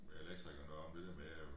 Med elektrikeren deroppe det der med at jo